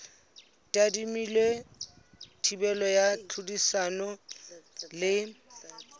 tadimilwe thibelo ya tlhodisano le